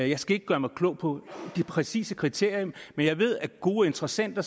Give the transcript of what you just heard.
jeg skal ikke gøre mig klog på de præcise kriterier men gode interessenter